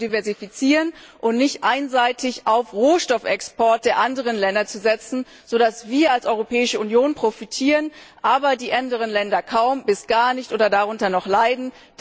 zu differenzieren, und nicht einseitig auf Rohstoffexporte der anderen Länder setzen, so dass wir als Europäische Union profitieren, aber die anderen Länder kaum bis gar nicht oder sogar darunter leiden.